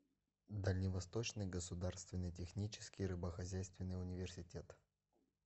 дальневосточный государственный технический рыбохозяйственный университет